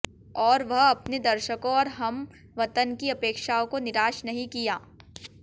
और वह अपने दर्शकों और हमवतन की अपेक्षाओं को निराश नहीं किया